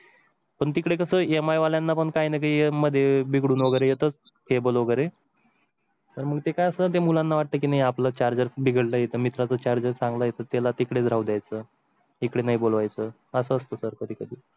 पण तिकडे कसं MI वाल्यांना पण काही मध्ये बिघडून वगैरे येतच cable वगैरे तर मग ते काय असेल ते मुलांना वाटतं की आपलं charger बिघडले तर मित्रा चा charger गला येतो. त्याला तिकडे जाऊ द्यायचं इकडे नाही बोलवायचं असतं